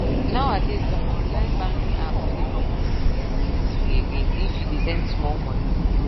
nowadays some online banking apps no dey comot money sms fee again if you dey send small money